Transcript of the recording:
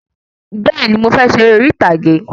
Bẹ́ẹ̀ni, Mo fẹ ṣe eré orí ìtàgé